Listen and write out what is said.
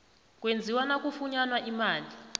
kwenziwa nakufunyanwa imali